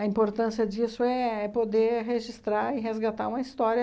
A importância disso é é poder registrar e resgatar uma história.